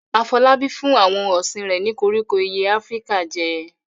Afolabi fún àwọn ohun ọ̀sìn rẹ̀ ní koríko ìyẹ́ Áfíríkà jẹ.